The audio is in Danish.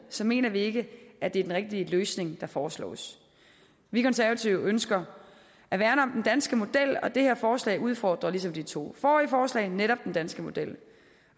så mener vi ikke at det er den rigtige løsning der foreslås vi konservative ønsker at værne om den danske model og det her forslag udfordrer ligesom de to forrige forslag netop den danske model